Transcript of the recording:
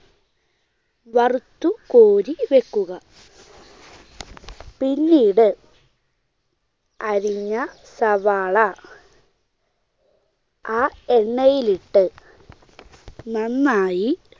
വറുത്തുകോരി വെക്കുക. പിന്നീട് അരിഞ്ഞ സവാള ആ എണ്ണയിലിട്ട് നന്നായി